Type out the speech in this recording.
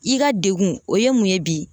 I ka degun o ye mun ye bi